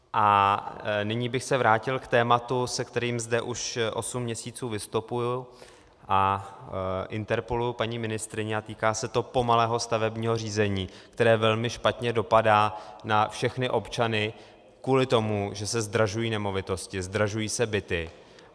A nyní bych se vrátil k tématu, se kterým zde už osm měsíců vystupuji a interpeluji paní ministryni a týká se to pomalého stavebního řízení, které velmi špatně dopadá na všechny občany kvůli tomu, že se zdražují nemovitosti, zdražují se byty.